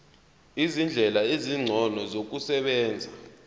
izindlela ezingcono zokusebenza